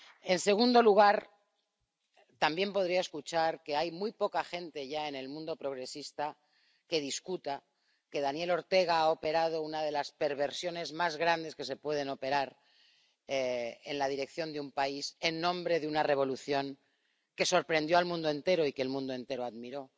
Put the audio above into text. En segundo lugar, también podría escuchar que hay muy poca gente ya en el mundo progresista que discuta que Daniel Ortega ha operado una de las perversiones más grandes que se pueden operar en la dirección de un país, en nombre de una revolución que sorprendió al mundo entero y que el mundo entero admiró.